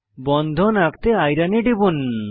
বন্ধন আঁকতে আইরন এ টিপুন